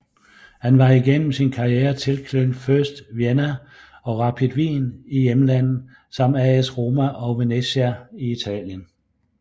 Han var igennem sin karriere tilknyttet First Vienna og Rapid Wien i hjemlandet samt AS Roma og Venezia i Italien